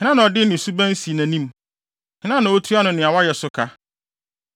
Hena na ɔde ne suban si nʼanim? Hena na otua no nea wayɛ so ka?